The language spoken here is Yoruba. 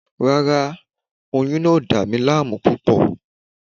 Rárá, oyún náà ò dà mí láàmú púpọ̀